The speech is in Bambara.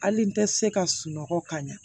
Hali n tɛ se ka sunɔgɔ ka ɲa